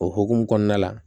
O hokumu kɔnɔna la